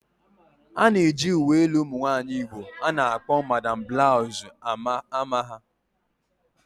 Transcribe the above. A na-eji uwe elu ụmụ nwaanyị Igbo a na-akpọ 'Madam Blouse'' ama ha